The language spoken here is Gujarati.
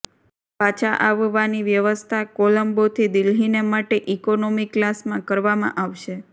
પાછા આવવાની વ્યવસ્થા કોલંબોથી દિલ્હીને માટે ઈકોનોમી ક્લાસમાં કરવામાં આવશે